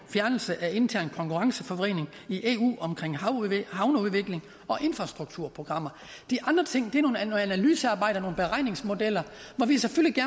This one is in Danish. fjernelse af intern konkurrenceforvridning i eu omkring havneudvikling og infrastrukturprogrammer de andre ting er noget analysearbejde og nogle beregningsmodeller hvor vi selvfølgelig